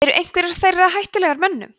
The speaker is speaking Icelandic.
eru einhverjar þeirra hættulegar mönnum